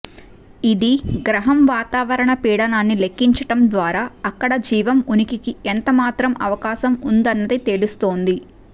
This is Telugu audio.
ఇది గ్రహం వాతావరణ పీడనాన్ని లెక్కించటం ద్వారా అక్కడ జీవం ఉనికికి ఎంతమాత్రం అవకాశం ఉందన్నది తేలుస్తుంది